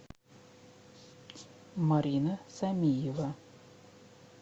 марина самиева